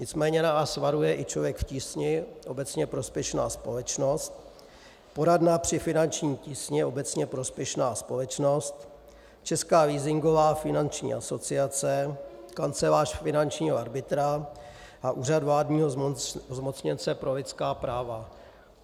Nicméně nás varuje i Člověk v tísni, obecně prospěšná společnost, Poradna při finanční tísni, obecně prospěšná společnost, Česká leasingová finanční asociace, Kancelář finančního arbitra a Úřad vládního zmocněnce pro lidská práva.